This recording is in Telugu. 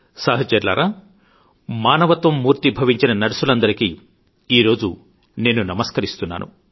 సహచరులారా మానవత్వం మూర్తీభవించిన నర్సులందరికీ ఈరోజు నేను నమస్కరిస్తున్నాను